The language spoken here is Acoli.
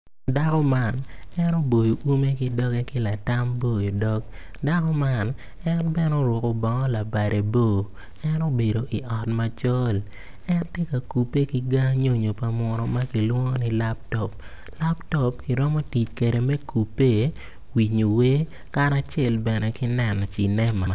Dako man en opoyo ume ki dogge ki latam boyo dog dako man en bene oruku bongo labade bor en obedo i ot macol en ti ka kupe kiga nyonyo pa munu ma kilwongo ni laptop latop iromo tic kede mi kupe winyo wer karacel bene ki neno cinema